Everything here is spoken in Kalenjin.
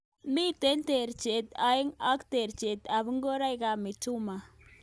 Mitei terjinet age ak terjinet ab ngoroik ab mitumba.